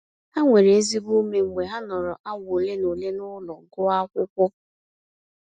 Ha nwere ezigbo ume mgbe ha nọrọ awa ole na ole n'ụlọ gụọ akwụkwọ.